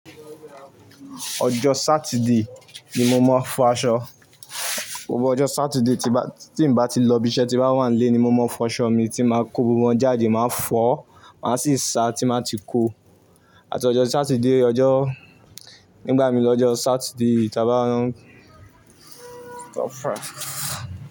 Ọjọ́ Saturday ni mo máa ń fọ aṣọ. Gbogbo ọjọ́ Saturday tí bà, tí n bá ti lọ ibi iṣẹ́, tí ń bá wà nílé ni mo máa ń fọ aṣọ mi tí mo máa kó gbogbo wọ́n jáde, máa fọ̀ọ́, máa sì sa tí n bá ti kó. Àti ọjó Saturday ọjọ́ nígbà míì ní ọjọ́ Saturday tá bá n.